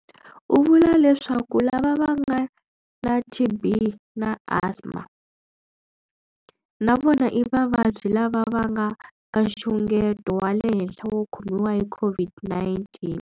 U vula leswaku lava va nga na TB na asma na vona i vavabyi lava va nga ka nxungeto wa le henhla wo khomiwa hi COVID-19.